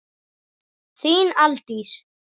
Þín, Aldís.